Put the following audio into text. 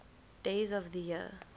days of the year